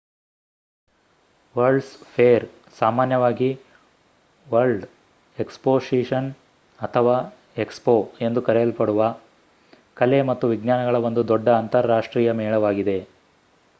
world's fair ಸಾಮಾನ್ಯವಾಗಿ world exposition ಅಥವಾ expo ಎಂದು ಕರೆಯಲ್ಪಡುವ ಕಲೆ ಮತ್ತು ವಿಜ್ಞಾನಗಳ ಒಂದು ದೊಡ್ಡ ಅಂತರ್ ರಾಷ್ಟ್ರೀಯ ಮೇಳವಾಗಿದೆ